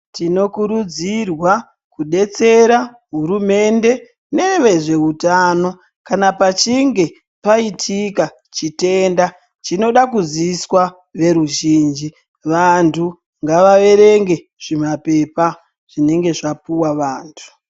Tinokurudzirwa kudetsera hurumende nevezveutano kana pachinge paita chitenda chinoda kuziiswa veruzhinji Vantu ngavaerenge zvimapepa zvinenge zvapuwa vantu.